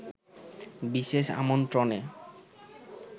বিশেষ আমন্ত্রণে